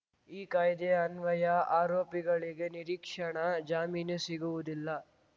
ಈ ಕಾಯ್ದೆ ಅನ್ವಯ ಆರೋಪಿಗಳಿಗೆ ನಿರೀಕ್ಷಣಾ ಜಾಮೀನು ಸಿಗುವುದಿಲ್ಲ